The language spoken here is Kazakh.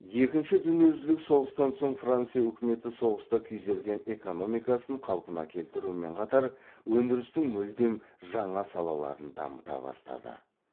екінші дүниежүзілік соғыстан соң франция үкіметі соғыста күйзелген экономикасын қалпына келтірумен қатар өндірістің мүлдем жаңа салаларын дамыта бастады